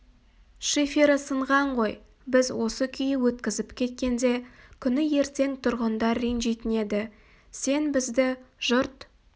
шифері сынған ғой біз осы күйі өткізіп кеткенде күні ертең тұрғындар ренжитін еді сен бізді жұрт